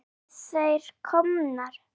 Nú eru þær komnar.